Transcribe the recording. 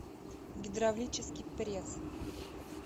гидравлический пресс